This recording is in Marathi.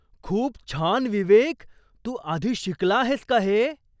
खूप छान विवेक! तू आधी शिकला आहेस का हे?